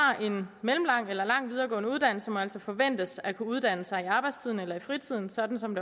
har en mellemlang eller lang videregående uddannelse må altså forventes at kunne uddanne sig i arbejdstiden eller i fritiden sådan som